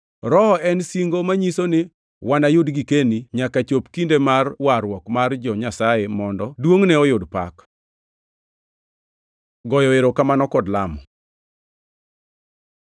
Rohono en singo manyiso ni wanayud girkeni nyaka chopi kinde mar warruok mar jo-Nyasaye, mondo duongʼne oyud pak. Goyo erokamano kod lamo